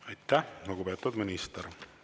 Aitäh, lugupeetud minister!